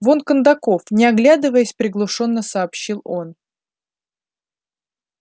вон кондаков не оглядываясь приглушённо сообщил он